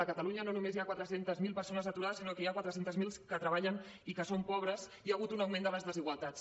a catalunya no només hi ha quatre cents miler persones aturades sinó que n’hi ha quatre cents miler que treballen i que són pobres hi ha hagut un augment de les desigualtats